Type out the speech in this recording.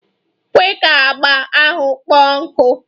Kwe ka agba ahụ kpọọ nkụ!